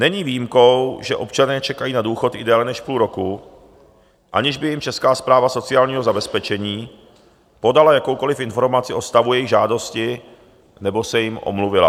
Není výjimkou, že občané čekají na důchod i déle než půl roku, aniž by jim Česká správa sociálního zabezpečení podala jakoukoliv informaci o stavu jejich žádosti nebo se jim omluvila.